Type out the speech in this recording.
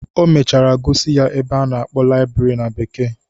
O mechara gosi ya ebe a na-akpọ laịbrị na bekee.